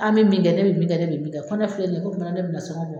n bɛ min kɛ ne bɛ min kɛ ne bɛ min kɛ kɔntɛ filɛ nin ye n k'o kuma na ne bɛ na so